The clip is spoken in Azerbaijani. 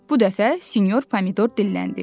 Bu dəfə senor Pomidor dilləndi.